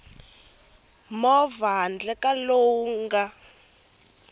movha handle ka lowu nga